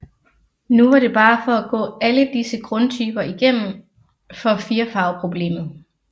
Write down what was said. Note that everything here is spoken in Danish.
Nu var det bare at gå alle disse grundtyper igennem for firfarveproblemet